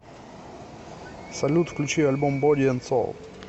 салют включи альбом боди энд соул